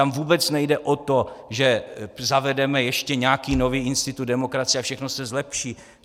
Tam vůbec nejde o to, že zavedeme ještě nějaký nový institut demokracie a všechno se zlepší.